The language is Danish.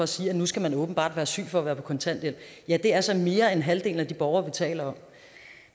sige at nu skal man åbenbart være syg for at være på kontanthjælp ja det er så mere end halvdelen af de borgere vi taler om